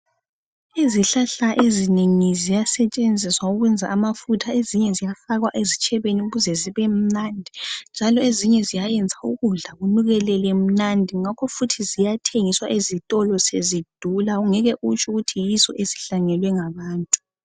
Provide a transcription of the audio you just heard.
Izihlahla ezinengi ziyasetshenziswa ukwenza amafutha ezinye ziyafakwa ezitshebeni ukuze zibemnandi, njalo ezinye ziyayenza ukudla kunukelele mnandi. Ziyathengiswa ezitolo sezidula njalo uyabe ungasathembi ukuthi yizo ezisemakhaya wethu.